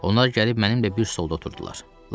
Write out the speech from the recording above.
Onlar gəlib mənimlə bir solda oturdular.